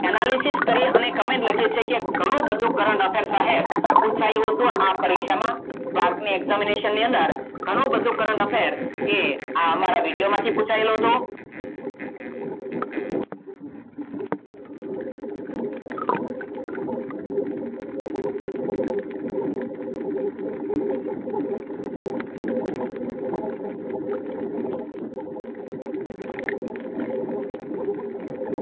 Analisis કરીને Comment લખી છે કે ઘણું બધું કરેલ સાહેબ પૂછ્યું હતું આ પરીક્ષામાં Examination અંદર આ અમારા વિડિઓ માંથી પૂછાયેલું હતું